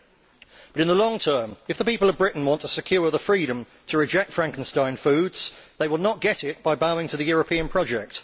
But, in the long term, if the people of Britain want to secure the freedom to reject Frankenstein foods, they will not get it by bowing to the European project.